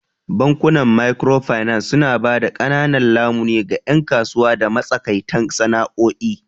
Bankunan Microfinance suna ba da ƙananan lamuni ga 'yan kasuwa da matsakaitan sana'o'i.